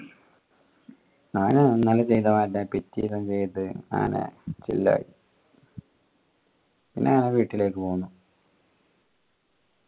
ഞാൻ ഇങ്ങള് ചെയ്ത മാതിരി തന്നെ പിറ്റേന് എന്ത് ചെയ്ത പിന്നെ നേരെ വീട്ടിലേക്ക് പൊന്നു